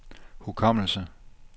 hukommelse